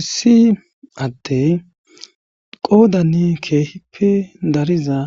Issi adde qoodanni keehippe dariza